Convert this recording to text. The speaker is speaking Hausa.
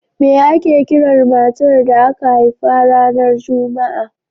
Me ake kiran matar da aka haifa ranar Juma'a?